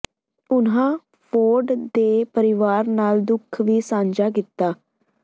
ਉਨ੍ਹਾਂ ਫੋਰਡ ਦੇ ਪਰਿਵਾਰ ਨਾਲ ਦੁੱਖ ਵੀ ਸਾਂਝਾ ਕੀਤਾ